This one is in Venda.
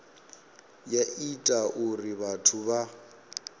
ya ita uri vhathu vha